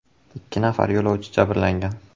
Ikki nafar yo‘lovchi jabrlangan.